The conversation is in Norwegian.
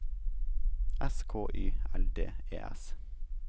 S K Y L D E S